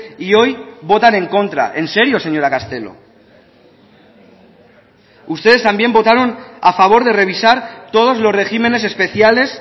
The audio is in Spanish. y hoy votan en contra en serio señora castelo ustedes también votaron a favor de revisar todos los regímenes especiales